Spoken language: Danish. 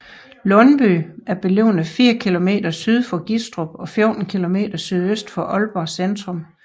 Lundby er beliggende fire kilometer syd for Gistrup og 14 kilometer sydøst for Aalborg centrum